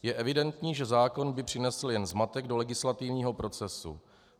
Je evidentní, že zákon by přinesl jenom zmatek do legislativního procesu.